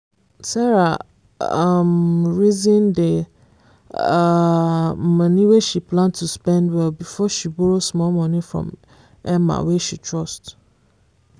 sarah um reason the um money wey she plan to spend well before she borrow small money from emma wey she trust